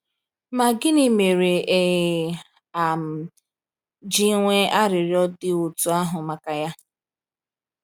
Ma gịnị mere e um ji nwee arịrịọ dị otú ahụ maka ya?